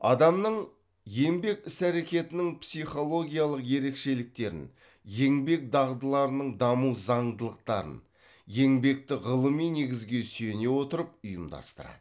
адамның еңбек іс әрекетінің психологиялық ерекшеліктерін еңбек дағдыларының даму заңдылықтарын еңбекті ғылыми негізге сүйене отырып ұйымдастырады